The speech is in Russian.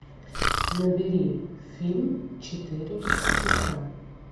набери фильм четыре часа